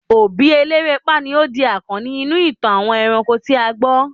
obi elerepa ni o di akanni inú itan àwọn eranko ti a gbo